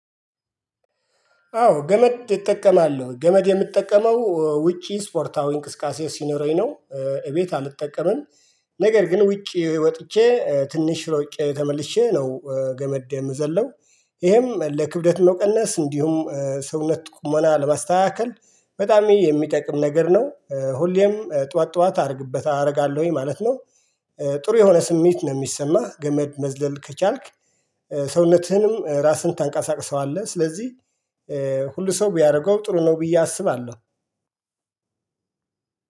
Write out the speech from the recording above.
አዎ ገመድ ይጠቀማል ገመድ የምጠቀመው ውጪ ስፖርታዊ እንቅስቃሴ ሲኖረኝ ነው እቤት አልጠቀምም። ነገር ግን ውጪ ወጥቼ ትንሽ ሮጬ ተመልሼ ነው ገመድ ምዘለው ይሄም ለክብደት ነው መቀነስ እንዲሁም ሰውነት ቁሞና ለማስተካከል በጣም የሚጠቅም ነገር ነው። ሁሌም ጠዋት ጠዋት አድርግበት አደርጋለሁኝ ማለት ነው። ጥሩ የሆነ ስሜት ነው ሚሰማህ ገመድ መዝለል ከቻልክ? ሰውነትህንም ራስህን ታንቃሳቅሰዋለህ ስለዚህ ሁሉ ሰው ቢያደርገው ጥሩ ነው። ብዬ አስባለሁ።